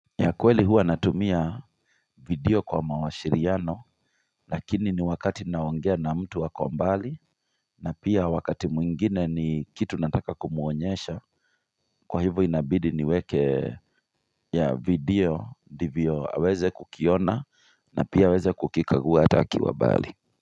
Ya kweli hua natumia video kwa mawashiriano Lakini ni wakati ni naongea na mtu ako mbali na pia wakati mwingine ni kitu nataka kumuonyesha Kwa hivo inabidi niweke ya video ndivyo aweze kukiona na pia aweze kukikagua hata akiwa mbali.